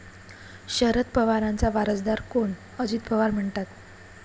शरद पवारांचा वारसदार कोण?, अजित पवार म्हणतात...